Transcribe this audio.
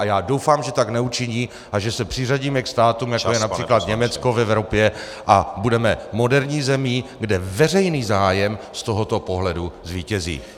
A já doufám, že tak neučiní a že se přiřadíme k státům, jako je například Německo v Evropě , a budeme moderní zemí, kde veřejný zájem z tohoto pohledu zvítězí.